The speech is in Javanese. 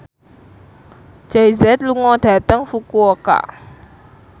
Jay Z lunga dhateng Fukuoka